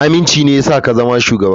Aminci me yasa ka zama shugaba.